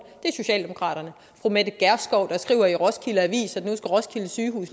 er socialdemokraterne fru mette gjerskov der skriver i roskilde avis at nu skal roskilde sygehus